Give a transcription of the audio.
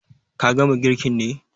Ka gama girkin ne?